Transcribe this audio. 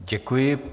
Děkuji.